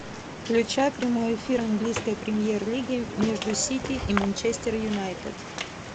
включай прямой эфир английской премьер лиги между сити и манчестер юнайтед